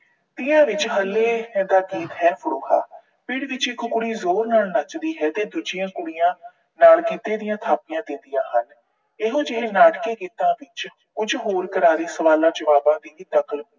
ਤੀਆਂ ਵਿੱਚ ਹਲੇ ਇਹਦਾ ਗੀਤ ਹੈ ਪੀੜ ਵਿੱਚ ਇੱਕ ਕੁੜੀ ਜੋਰ ਨਾਲ ਨੱਚਦੀ ਹੈ ਤੇ ਦੂਜਿਆਂ ਕੁੜੀਆਂ ਨਾਲ ਗਿੱਧੇ ਦੀਆਂ ਥਾਪੀਆਂ ਦਿੰਦੀਆਂ ਹਨ। ਇਹੋ ਜਿਹੇ ਨਾਟਕੀ ਗੀਤਾਂ ਵਿੱਚ ਕੁਝ ਹੋਰ ਕਰਾਰੇ ਸਵਾਲਾਂ ਜਵਾਬਾਂ ਦੀ ਨਕਲ